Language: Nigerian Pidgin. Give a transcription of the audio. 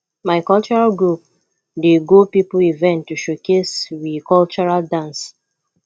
my cultural group dey go pipo event to showcase we cultural dance